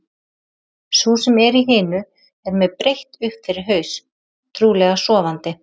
Sú sem er í hinu er með breitt upp fyrir haus, trúlega sofandi.